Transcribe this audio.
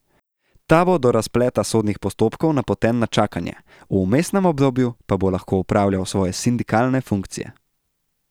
Ta bo do razpleta sodnih postopkov napoten na čakanje, v vmesnem obdobju pa bo lahko opravljal svoje sindikalne funkcje.